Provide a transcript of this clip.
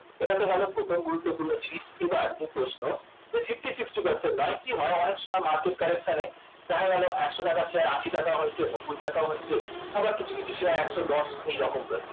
এটাতো গেল প্রথম গুরুত্বপূর্ণ জিনিস এবার যে প্রশ্ন nifty fifty নয় কি হয় market correction দেখা গেল একশ টাকার শেয়ার আশি টাকাও হয়েছে নব্বই টাকা হয়েছে আবার কিছু কিছু শেয়ার একশ দশ এরকম হয়েছে